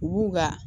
U b'u ka